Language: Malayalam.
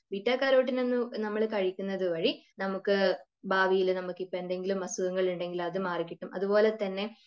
ബീറ്റാകരോട്ടീൻ നമ്മൾ കഴിക്കുന്നത് വഴി നമുക്ക്, ഭാവിയിൽ നമുക്കിപ്പൊ എന്തെങ്കിലും അസുഖങ്ങൾ ഉണ്ടെങ്കിൽ അത് മാറി കിട്ടും. അതുപോലെ തന്നെ